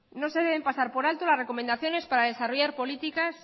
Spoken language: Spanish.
no se deben pasar por alto las recomendaciones para desarrollar políticas